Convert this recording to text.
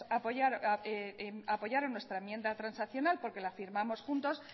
apoyaron nuestra enmienda transaccional porque la firmamos juntos